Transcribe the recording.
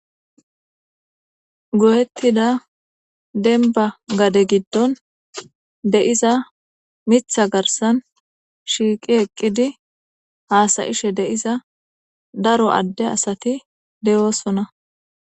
Goyetida denba gade gidon de'iza miththa garissan shiqi eqidi hasayishshe de'iza daro ade asati de'osonna